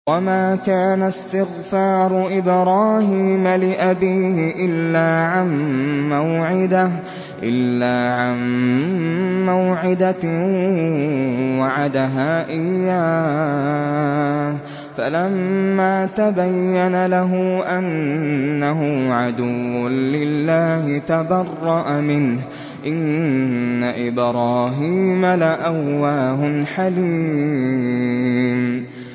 وَمَا كَانَ اسْتِغْفَارُ إِبْرَاهِيمَ لِأَبِيهِ إِلَّا عَن مَّوْعِدَةٍ وَعَدَهَا إِيَّاهُ فَلَمَّا تَبَيَّنَ لَهُ أَنَّهُ عَدُوٌّ لِّلَّهِ تَبَرَّأَ مِنْهُ ۚ إِنَّ إِبْرَاهِيمَ لَأَوَّاهٌ حَلِيمٌ